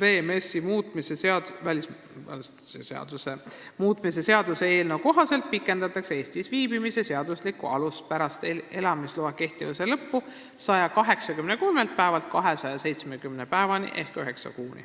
VMS-i ehk välismaalaste seaduse muutmise seaduse eelnõu kohaselt pikendatakse Eestis viibimise seaduslikku alust pärast elamisloa kehtivuse lõppu 183 päevalt 270 päevani ehk üheksa kuuni.